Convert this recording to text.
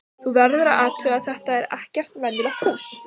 Þú verður að athuga að þetta er ekkert venjulegt hús.